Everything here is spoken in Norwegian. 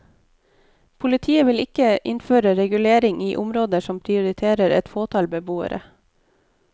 Politiet vil ikke innføre regulering i området som prioriterer et fåtall beboere.